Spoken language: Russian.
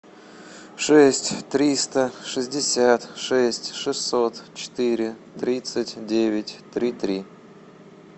шесть триста шестьдесят шесть шестьсот четыре тридцать девять три три